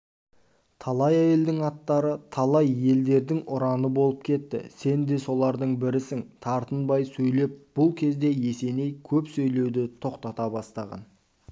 талай әйелдің аттары талай елдердің ұраны болып кетті сен де солардың бірісің тартынбай сөйлеп бұл кезде есеней көп сөйлеуді тоқтата бастаған